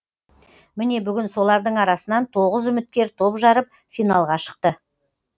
міне бүгін солардың арасынан тоғыз үміткер топ жарып финалға шықты